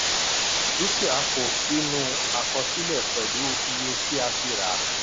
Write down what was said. dúkìá kó sínú àkọsílẹ̀ pẹ̀lú iye tí a fi rà.